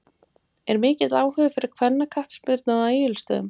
Er mikill áhugi fyrir kvennaknattspyrnu á Egilsstöðum?